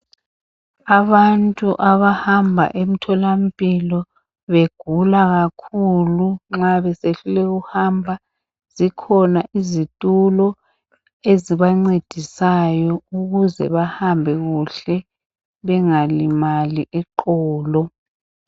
Abantu abahamba emtholampilo begula kakhulu nxa besehluleka ukuhamba zikhona izitulo ezibancedisayo ukuze bahambe kuhle bengalimali eqolo